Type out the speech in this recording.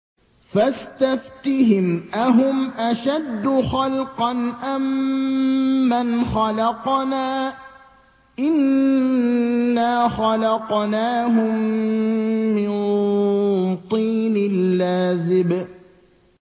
فَاسْتَفْتِهِمْ أَهُمْ أَشَدُّ خَلْقًا أَم مَّنْ خَلَقْنَا ۚ إِنَّا خَلَقْنَاهُم مِّن طِينٍ لَّازِبٍ